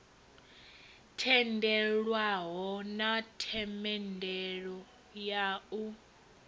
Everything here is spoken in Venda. tendelwaho na themendelo ya u